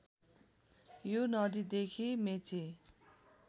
यो नदीदेखि मेची